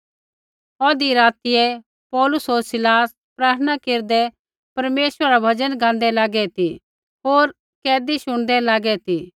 औधा रातियै पौलुस होर सीलास प्रार्थना केरदै परमेश्वरा रा भजन गाँदै लागै ती होर कैदी शुणदै लागै ती